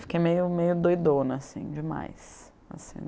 Fiquei meio meio doidona, assim, demais, assim.